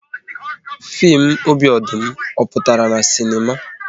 Fim "Obi Ọdụm", ọ pụtara na sinema?